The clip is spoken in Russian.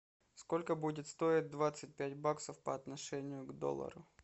сколько будет стоить двадцать пять баксов по отношению к доллару